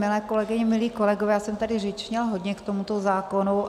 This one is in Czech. Milé kolegyně, milí kolegové, já jsem tady řečnila hodně k tomuto zákonu.